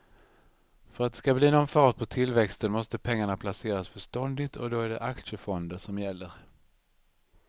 För att det ska bli någon fart på tillväxten måste pengarna placeras förståndigt och då är det aktiefonder som gäller.